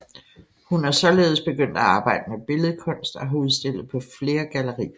Hun er således begyndt at arbejde med billedkunst og har udstillet på flere gallerier